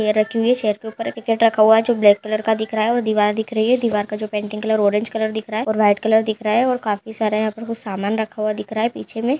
Chair रखी हुई है। चेर के उपर रखा हुआ है जो ब्लेक कलर का दिख रहा है और दीवार दिख रही है दीवार का जो पेंटिंग कलर ऑरेंज कलर दिख रहा है और व्हाइट कलर दिख रहा है और काफी सारा यहां पर कुछ सामान रखा हुआ दिख रहा है पीछे में --